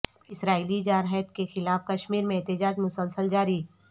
اسرائیلی جارحیت کے خلاف کشمیر میں احتجاج مسلسل جاری